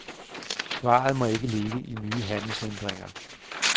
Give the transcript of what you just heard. Svaret må ikke ligge i nye handelshindringer.